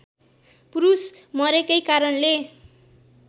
पुरुष मरेकै कारणले